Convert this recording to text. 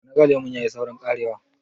ya naga lemon ya yi saurin karewa?